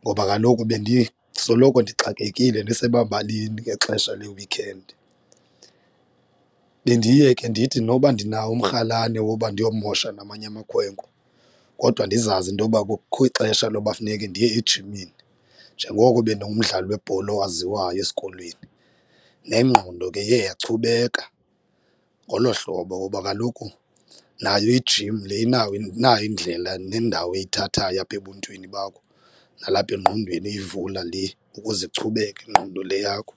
ngoba kaloku bendisoloko ndixakekile ndisemabalini ngexesha le-weekend. Bendiye ke ndithi noba ndinawo umrhalane woba ndiyomosha namanye amakhwenkwe kodwa ndizazi intoba kukho ixesha loba funeke ndiye ejimini njengoko bendingumdlali webhola owaziwayo esikolweni. Nengqondo ke iye yachubeka ngolo hlobo woba kaloku nayo ijim le inawo inayo indlela nendawo eyithathayo apha ebuntwini bakho nalapha engqondweni iyivula le ukuze ichubeke ingqondo le yakho.